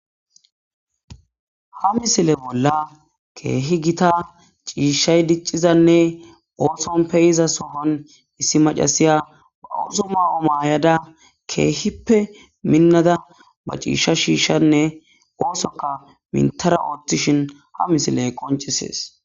Haa missile bolla kehi Gita cishshayi dicizanne oththonni pe'iza soon issi macashshiya baa oththo mayo ma'ada kehippe minada ba cishsha shoshanne oththokka mintada oththishinne ha missileyi qonccisess.